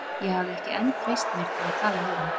Ég hafði ekki enn treyst mér til að tala við hann.